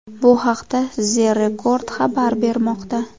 Bu haqda The Record xabar bermoqda .